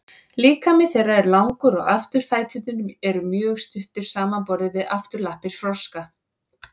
líkami þeirra er langur og afturfæturnir eru mjög stuttir samanborið við afturlappir froska